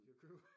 Vi kan jo købe